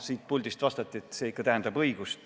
Siit puldist vastati, et see tähendab õigust.